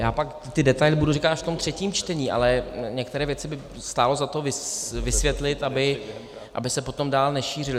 Já pak ty detaily budu říkat až v tom třetím čtení, ale některé věci by stálo za to vysvětlit, aby se potom dál nešířily.